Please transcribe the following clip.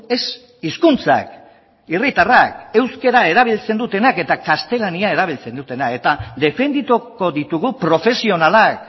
ez hizkuntzak herritarrak euskara erabiltzen dutenak eta gaztelania erabiltzen dutenak eta defendituko ditugu profesionalak